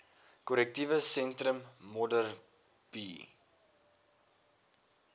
korrektiewe sentrum modderbee